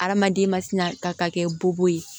Hadamaden ma sina ta ka kɛ bu ye